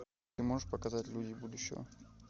ты можешь показать люди будущего